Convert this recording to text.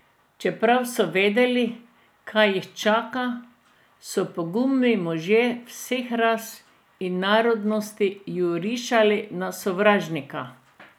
Čeprav so vedeli, kaj jih čaka, so pogumni možje vseh ras in narodnosti jurišali na sovražnika.